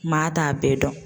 Maa t'a bɛɛ dɔn.